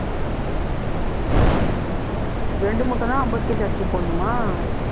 இரண்டு மூட்டைன்னா ஐம்பது அரிசி போடணுமா